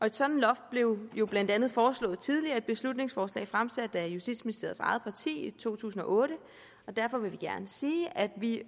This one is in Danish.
et sådant loft blev jo blandt andet foreslået tidligere i et beslutningsforslag fremsat af justitsministerens eget parti i to tusind og otte derfor vil vi gerne sige at vi